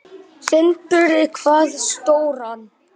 Sindri: Hvað stóran?